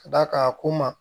Ka d'a kan a ko n ma